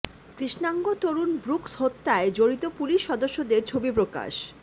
কৃষ্ণাঙ্গ তরুণ ব্রুকস হত্যায় জড়িত পুলিশ সদস্যদের ছবি প্রকাশ